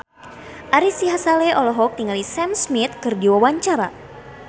Ari Sihasale olohok ningali Sam Smith keur diwawancara